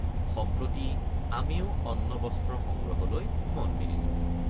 সম্প্ৰতি আমিও অন্নবস্ত্ৰ সংগ্ৰহলৈ মন মেলিলোঁ ।